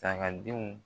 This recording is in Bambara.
Sagadenw